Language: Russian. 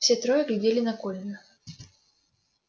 все трое глядели на колина